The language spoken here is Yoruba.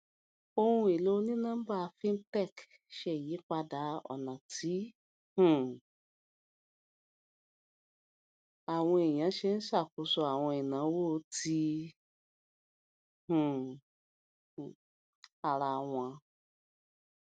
ohun èlò onínọmbà fintech ṣe ìyípadà ọnà tí um àwọn ènìyàn ń ṣe ṣàkóso àwọn ináwó ti um ara wọn